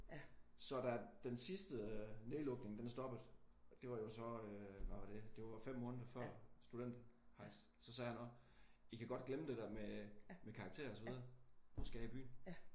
Så da den sidste nedlukning den stoppede det var jo så øh hvad var det? Det var 5 måneder før studenterhejs. Så sagde han også I kan godt glemme det med karakterer og så videre. Nu skal jeg i byen